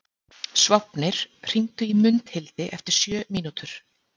Sváfnir, hringdu í Mundhildi eftir sjö mínútur.